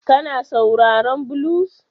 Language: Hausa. Kana sauraron Blues?